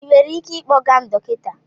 Ị nwere ike ịkpọga m dọkịta?